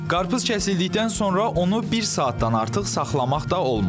Qarpız kəsildikdən sonra onu bir saatdan artıq saxlamaq da olmaz.